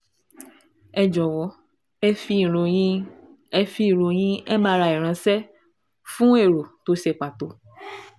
ẹ jọ̀wọ́ ẹ fi ìròyìn ẹ fi ìròyìn MRI ránṣẹ́ fún èrò tó ṣe pàtó